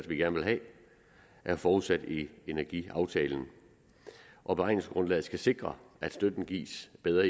vi gerne vil have er forudsat i energiaftalen og beregningsgrundlaget skal sikre at støtten gives i bedre